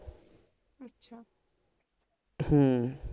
ਹਮ